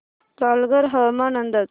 पालघर हवामान अंदाज